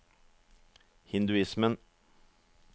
hinduismen